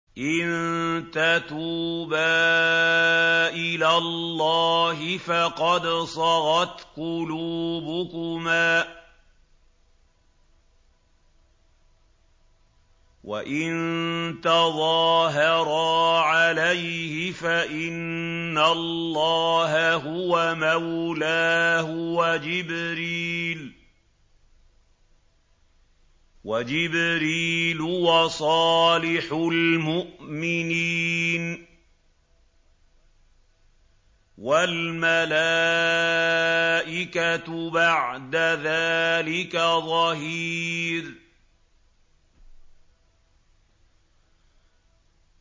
إِن تَتُوبَا إِلَى اللَّهِ فَقَدْ صَغَتْ قُلُوبُكُمَا ۖ وَإِن تَظَاهَرَا عَلَيْهِ فَإِنَّ اللَّهَ هُوَ مَوْلَاهُ وَجِبْرِيلُ وَصَالِحُ الْمُؤْمِنِينَ ۖ وَالْمَلَائِكَةُ بَعْدَ ذَٰلِكَ ظَهِيرٌ